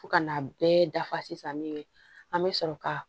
Fo ka n'a bɛɛ dafa sisan min ye an bɛ sɔrɔ ka